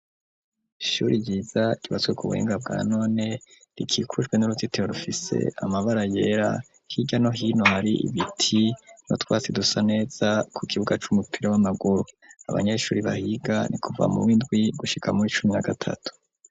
Ishure ryiza ryubatse ku buhinga bwa none rikikujwe nuruzitiro rufise amabara yera hirya no hino hari ibiti no twatsi dusa neza ku kibuga c'umupira w'amaguru, abanyeshuri bahiga ni kuva muwindwi gushika muri icumi na gatatu.